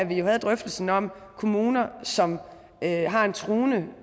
vi jo havde drøftelsen om kommuner som har en truende